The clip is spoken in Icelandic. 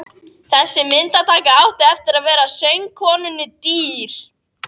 Þessi myndataka átti eftir að verða söngkonunni dýr.